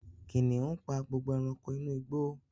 Kìnìún pa gbogbo ẹranko inú igbó